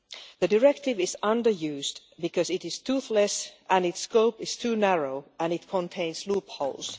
The directive is under-used because it is toothless and its scope is too narrow and it contains loopholes.